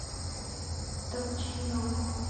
добчинова